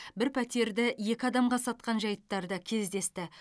бір пәтерді екі адамға сатқан жайттар да кездесті